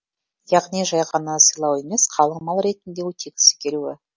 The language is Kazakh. яғни жай ғана сыйлау емес қалың мал ретінде өтегісі келуі